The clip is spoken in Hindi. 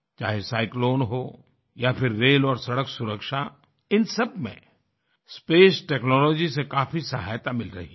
चाहे साइक्लोन हो या फिर रेल और सड़क सुरक्षा इन सब में स्पेस टेक्नोलॉजी से काफी सहायता मिल रही है